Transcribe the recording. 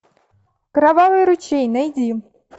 кровавый ручей найди